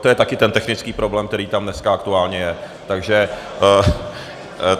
To je také ten technický problém, který tam dneska aktuálně je.